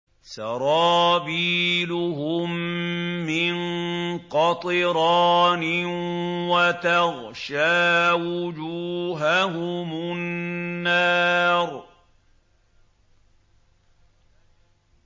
سَرَابِيلُهُم مِّن قَطِرَانٍ وَتَغْشَىٰ وُجُوهَهُمُ النَّارُ